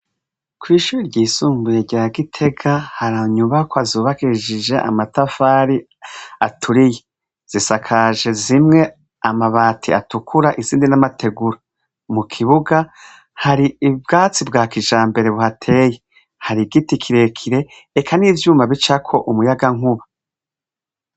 Kw'ishure ryisumbuye rya Gitega, hari inyubakwa zubakishije amatafari aturiye. Zisakaje zimwe amabati atukura. Izindi ni amategura. Mu kibuga, hari ubwatsi bwa kijambere buhateye. Hari igiti kirekire, eka n'ivyuma bicako umuyagankuba.